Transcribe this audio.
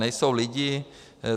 Nejsou lidi.